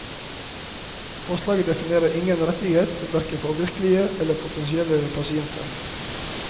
Forslaget definerer ingen rettighet hverken for virkelige eller potensielle pasienter.